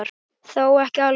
Þó ekki alveg.